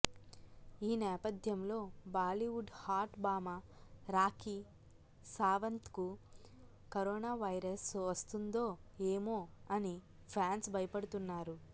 ఈ నేపథ్యంలో బాలీవుడ్ హాట్ భామ రాఖీ సావంత్ కు కరోనా వైరస్ వస్తుందో ఏమో అని ఫ్యాన్స్ భయపడుతున్నారు